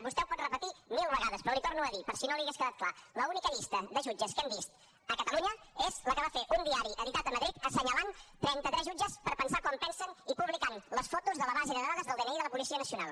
vostè ho pot repetir mil vegades però l’hi torno a dir per si no li hagués quedat clar l’única llista de jutges que hem vist a catalunya és la que va fer un diari editat a madrid assenyalant trenta tres jutges per pensar com pensen i publicant les fotos de la base de dades del dni de la policia nacional